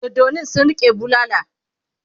doddanin sun rike bulala